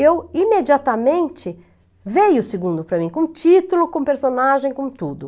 Eu, imediatamente, veio o segundo para mim, com título, com personagem, com tudo.